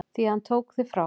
Því hann tók þig frá mér.